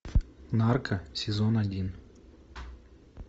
нарко сезон один